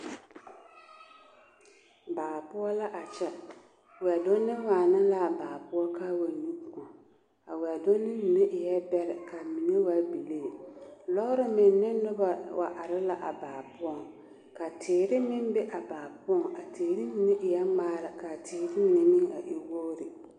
Baa poɔ la a kyɛ, wɛdunni waana l'a baa poɔ k'a wa nyu kõɔ, a wɛdunni mine eɛ bɛrɛ k'a mine waa bilii. Lɔɔre meŋ ne nobɔ wa are la a baa poɔŋ ka teere meŋ be a baa poɔŋ a teere mine eɛ ŋmaara k'a teere mine a e wogiri.